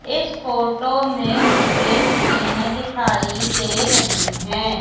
इस फोटो में मुझे मशीने दिखाई दे रही है।